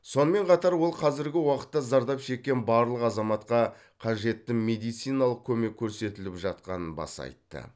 сонымен қатар ол қазіргі уақытта зардап шеккен барлық азаматқа қажетті медициналық көмек көрсетіліп жатқанын баса айтты